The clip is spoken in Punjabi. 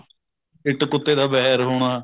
ਇੱਟ ਕੁੱਤੇ ਦਾ ਵੈਰ ਹੋਣਾ